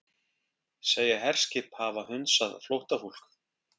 Segja herskip hafa hunsað flóttafólk